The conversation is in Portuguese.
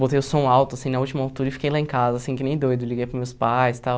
Botei o som alto, assim, na última altura e fiquei lá em casa, assim, que nem doido, liguei para os meus pais e tal.